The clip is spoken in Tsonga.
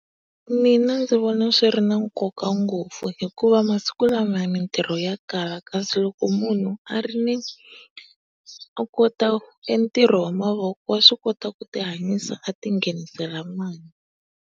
Mina ndzi vona swi ri na nkoka ngopfu hikuva masiku mintirho ya kala kasi loko munhu a ri ni a kota e ntirho wa mavoko wa swi kota ku ti hanyisa a ti nghenisela mali.